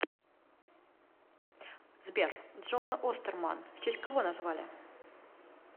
сбер джон остерман в честь кого назвали